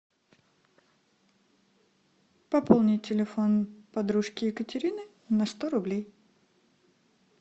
пополнить телефон подружки екатерины на сто рублей